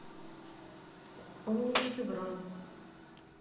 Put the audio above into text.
умнички бронь